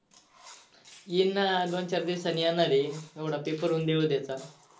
येईन ना दोन चार दिवसांनी येणार आहे एवढा paper होऊन दे उद्याचा.